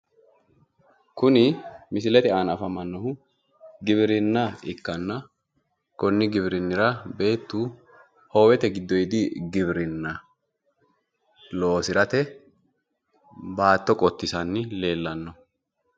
Kuni misilete aana afamannohu giwirinna ikkanna, konni giwirinnira beettu hoowete giddoodi giwirinna loosirate baatto qottisanni leellanno.